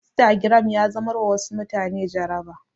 Instagram ya zamar wa wasu mutane jaraba